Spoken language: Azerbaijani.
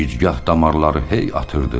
Gicgah damarları hey atırdı.